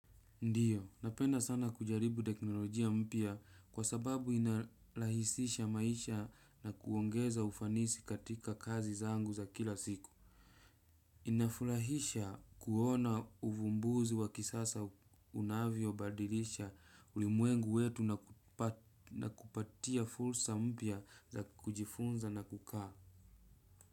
Ndiyo, napenda sana kujaribu teknolojia mpya kwa sababu inarahisisha maisha na kuongeza ufanisi katika kazi zangu za kila siku. Inafurahisha kuona uvumbuzi wa kisasa unavyo badilisha ulimwengu wetu na kupatia fursa mpya za kujifunza na kukaa.